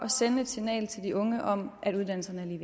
at sende et signal til de unge om at uddannelserne